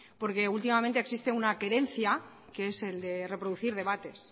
porque últimamente existe una querencia que es el de reproducir debates